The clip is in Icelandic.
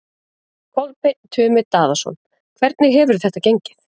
Kolbeinn Tumi Daðason: Hvernig hefur þetta gengið?